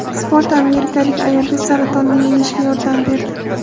Sport amerikalik ayolga saratonni yengishga yordam berdi.